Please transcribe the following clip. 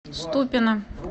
ступино